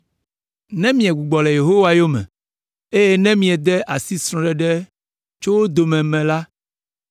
“Ne miegbugbɔ le Yehowa yome, eye ne miede asi srɔ̃ɖeɖe tso wo dome me la,